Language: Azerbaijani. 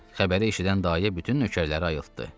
Xəbəri eşidən dayə bütün nökərləri ayıltddı.